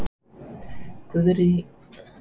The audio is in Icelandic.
Guðný Helga Herbertsdóttir: Verður það á ensku?